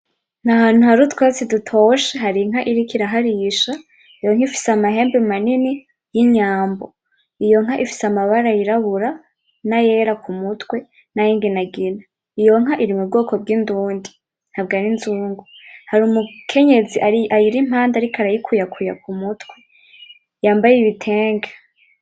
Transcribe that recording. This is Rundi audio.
Ni ahantu hari utwatsi dutoshe hari inka iriko iraharisha, iyo nka ifise amahembe manini y'inyambo, iyo nka ifise amabara y'irabura, nayera ku mutwe nayinginagina, iyo nka iri mu bwoko bw'indundi ntabwo ari inzungu, hari umukenyezi ayirimpande ariko arayikuyakuya ku mutwe yambaye ibitenge.